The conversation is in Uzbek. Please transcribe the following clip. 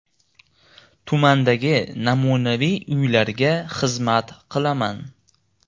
Tumandagi namunaviy uylarga xizmat qilaman.